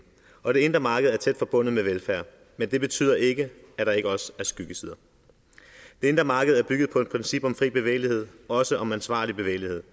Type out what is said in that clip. og det indre marked er tæt forbundet med velfærd men det betyder ikke at der ikke også er skyggesider det indre marked er bygget på et princip om fri bevægelighed og også om ansvarlig bevægelighed